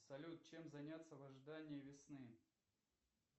салют чем заняться в ожидании весны